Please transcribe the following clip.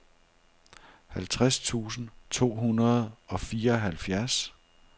halvtreds tusind to hundrede og fireoghalvfjerds